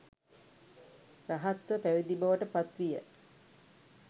රහත්ව පැවිදි බවට පත් විය.